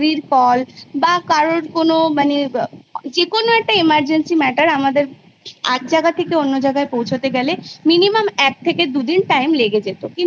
তা School Life এ আমরা বিভিন্ন রকম পর্যায় দেখতে পাই যখন ছোট থাকি তখন একরকম যখন মধ্যবয়সে যাই তখন আর একরকম যখন উচ্চ শিক্ষায় যাই তখন